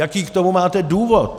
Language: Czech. Jaký k tomu máte důvod?